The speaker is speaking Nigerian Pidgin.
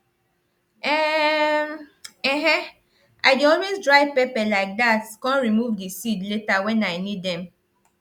um um i dey always dry pepper like that com remove di seed later wen i need dem